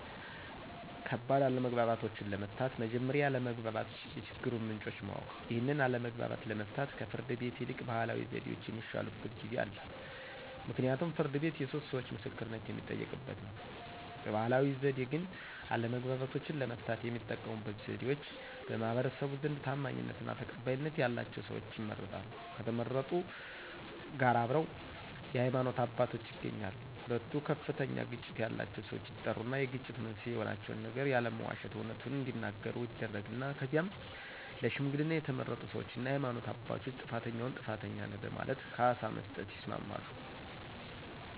ከባድ አለመግባባቶችን ለመፍታት መጀመሪያ የአለመግባባት የችግሩን ምንጮችን ማወቅ። ይህን አለመግባባት ለመፍታት ከፍርድ ቤት ይልቅ ባህላዊ ዘዴዎች የሚሻሉበት ጊዜ አለ ምክንያቱም ፍርድ ቤት የሶስት ሰዎቾ ምስክርነት የሚጠየቅበት ነው። በባህላዊ ዘዴ ግን አለመግባባቶችን ለመፍታት የሚጠቀሙበት ዘዴዎች በማህበረሰቡ ዘንድ ታማኝነትና ተቀባይነት ያላቸው ሰዎች ይመረጣሉ ከተመረጡት ጋር አብረው የሃይማኖት አባቶች ይገኛሉ ሁለቱ ከፍተኛ ግጭት ያላቸው ሰዎች ይጠሩና የግጭት መንስኤ የሆናቸውን ነገር ያለመዋሸት አውነቱን እዲናገሩ ይደረግና ከዚያም ለሽምግልና የተመረጡ ሰዎችና የሃይማኖት አባቶች ጥፋተኛውን ጥፋተኛ ነህ በማለት ካሳ መስጠት ያስማማሉ።